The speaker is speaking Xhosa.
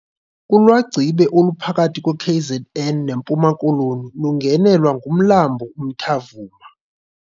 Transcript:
Ulwagcibe oluphakathi kweKZN neMpuma Koloni lungenelwa ngumlambo uMtamvuma.